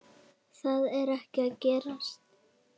Það er ekki að gerast.